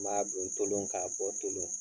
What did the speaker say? N b'a don tolon k'a bɔ tolon